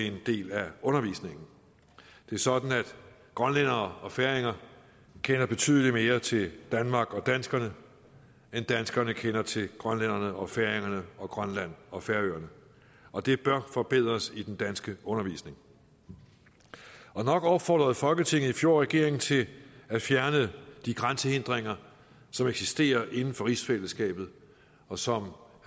en del af undervisningen det er sådan at grønlændere og færinger kender betydelig mere til danmark og danskerne end danskerne kender til grønlænderne og færingerne og grønland og færøerne og det bør forbedres i den danske undervisning nok opfordrede folketinget i fjor regeringen til at fjerne de grænsehindringer som eksisterer inden for rigsfællesskabet og som